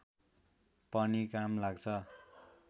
पनि काम लाग्छ